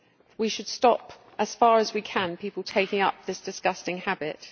We should stop, as far as we can, people taking up this disgusting habit.